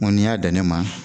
N ko n'i y'a dan ne ma